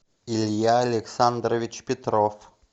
илья александрович петров